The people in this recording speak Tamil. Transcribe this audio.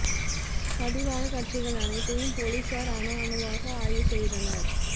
பதிவான காட்சிகள் அனைத்தையும் போலீசார் அணு அணுவாக ஆய்வு செய்தனர்